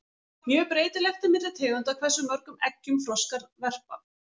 Mjög breytilegt er milli tegunda hversu mörgum eggjum froskar verpa.